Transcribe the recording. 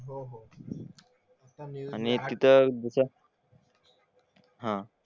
आणि तिथं कसं हां.